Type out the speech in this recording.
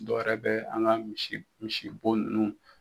Dɔ wɛrɛ bɛ an ka misi misibo ninnu